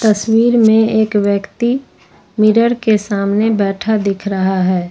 तस्वीर में एक व्यक्ति मिरर के सामने बैठा दिख रहा है।